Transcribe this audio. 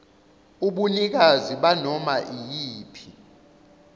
ubunikazi banoma iyiphi